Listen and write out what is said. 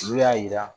N'u y'a jira